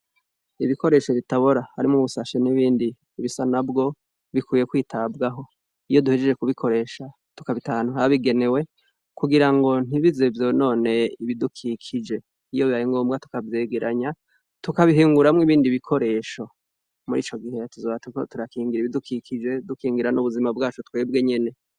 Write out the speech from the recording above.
Ibikoresho bitabora harimwo ubusashe n'ibindi bisa nabwo bikwiye kwitabwaho, iyo duhejeje kubikoresha tukabita ahantu habigenewe kugira ngo ntibize vyonone ibidukikije, iyo bibaye ngombwa tukavyegeranya tukabihinguramwo ibindi bikoresho, muri ico gihe tuzoba turiko turakingira ibidukikije dukingira n'ubuzima bwacu twebwe nyene.